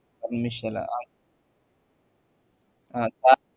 അതൊന്നുഷ്ടല്ല അഹ് അഹ്